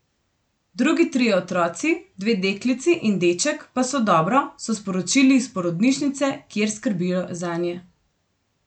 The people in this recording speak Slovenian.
Drugi trije otroci, dve deklici in deček, pa so dobro, so sporočili iz porodnišnice, kjer skrbijo zanje.